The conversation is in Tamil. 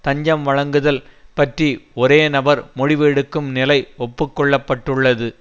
தஞ்சம் வழங்குதல் பற்றி ஒரே நபர் முடிவு எடுக்கும் நிலை ஒப்புக்கொள்ளப்பட்டுள்ளது